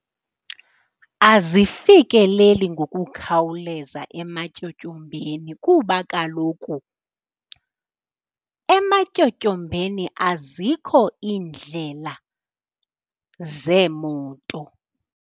Azifikeleli ngokukhawuleza ematyotyombeni kuba kaloku ematyotyombeni azikho iindlela zeemoto.